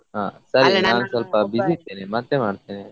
ಹಾ ಸರಿ ನಾನ್ಸ್ವಲ್ಪ busy ಇದ್ದೇನೆ ಮತ್ತೆ ಮಾಡ್ತೇನೆ.